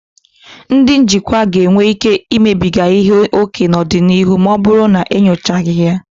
Ndị njikwa ga-enwe ike imebiga ihe ókè n'ọdịnihu ma ọ bụrụ na enyochaghị ya.